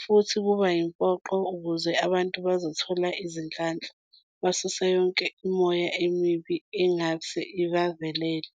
futhi kuba yimpoqo ukuze abantu bazothola izinhlanhla, basuse yonke imimoya emibi engase ibavelele.